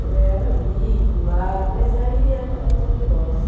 Eu era ali, do lar, mas aí é, é outro negócio.